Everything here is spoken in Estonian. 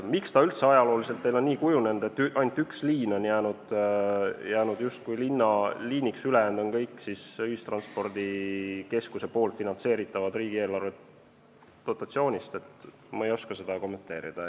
Miks ta üldse ajalooliselt on teil nii kujunenud, et ainult üks liin on jäänud justkui linnaliiniks, ülejäänud on kõik ühistranspordikeskuse kaudu finantseeritavad riigieelarvelisest dotatsioonist, seda ma ei oska kommenteerida.